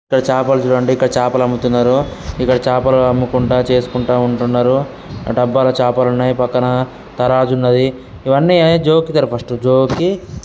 ఇక్కడ చాపలు చూడండి ఇక్కడ చేపల అమ్ముతున్నారు. ఇక్కడ చేపలు అమ్ముకుంటే చేసుకుంటా ఉంటున్నారు.. ఆ డబ్బా లో చాపలు ఉన్నాయి పక్కన తరాజు ఉన్నది. ఇవన్నీ జోకుతారు. ఫస్ట్ జోకి --